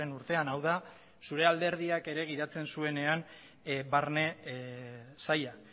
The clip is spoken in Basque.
urtean hau da zure alderdiak ere gidatzen zuenean barne saila